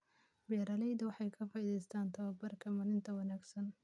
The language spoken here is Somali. Beeraleydu waxay ka faa'iideeystaan ??tababbarka maaraynta wanaagsan.